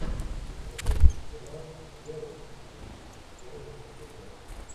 запусти сериал лео и тиг первый эпизод